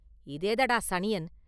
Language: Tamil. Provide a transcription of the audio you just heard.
“இதேதடா சனியன்?